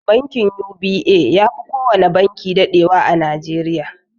Bankin UBA yafi kowana banki daɗewa a nigeria.